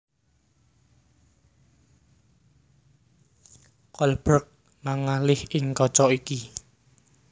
Kolberg mangalih ing kaca iki